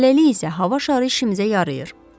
Hələlik isə hava şarı işimizə yarayır.